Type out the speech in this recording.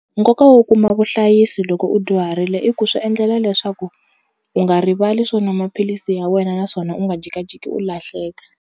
Nkoka wo kuma vuhlayisi loko u dyuharile i ku swi endlela leswaku u nga rivali swo nwa maphilisi ya wena naswona u nga jikajiki u lahleka.